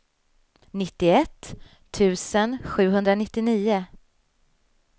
nittioett tusen sjuhundranittionio